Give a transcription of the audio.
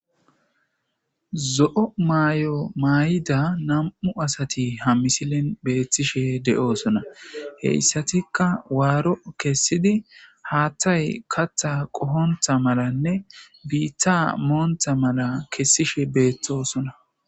zo7o may7o may7ida nam7u asati ha misilen beethtishe de7oosona heyssatikka waaro kessidi haattay katha qohontha malanne biitta moontha mala kessishe beettosona